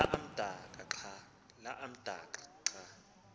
la amdaka xa